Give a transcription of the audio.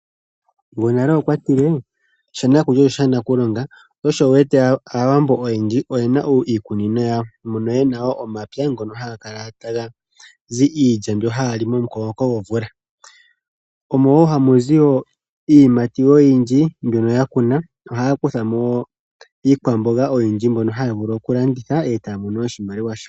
Gwonale okwa tile shanakulya osho shanakulonga, sho osho wu wete Aawambo oyendji oyena iikunino yawo, no yena wo omapya mgono haga kala taga zi iilya momukokomoko gomvula. Omo wo hamu zi iiyimati oyindji mbyono ya kuna, nohaya kutha mo iikwamboga oyindji mbyono haya vulu okulanditha e taya mono oshimaliwa shawo.